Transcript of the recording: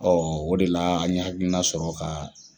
O de la an ye hakilina sɔrɔ ka